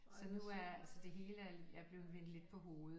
Så nu er altså det hele er blevet vendt lidt på hovedet